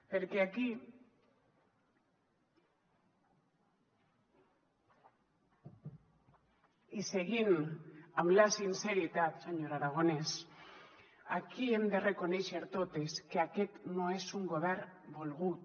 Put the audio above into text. perquè aquí i seguint amb la sinceritat senyor aragonès aquí hem de reconèixer totes que aquest no és un govern volgut